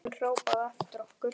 Hann hrópaði á eftir okkur.